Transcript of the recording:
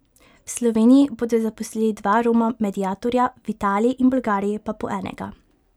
V Sloveniji bodo zaposlili dva Roma mediatorja, v Italiji in Bolgariji pa po enega.